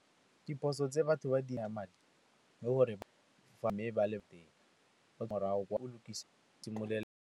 Diphoso tse batho ba lokisa .